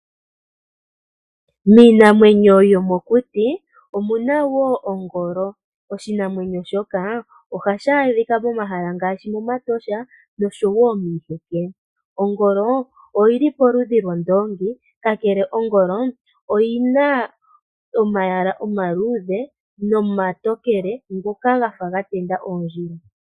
Miinamwenyo yomokuti omuna woo ongolo oshinamwenyo shoka ohashi adhika momahala ngaashi momatosha oshowo miiheke. Ongolo oyili poludhi lwondoongi kakele ongolo oyina omalwaala omaluudhe nomatokele ngoka gafa ga tenda oondjila.